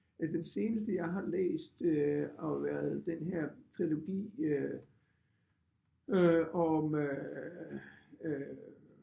Øh den seneste jeg har læst øh og været den her trilogi øh om øh øh